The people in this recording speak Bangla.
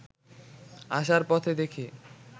আসার পথে দেখি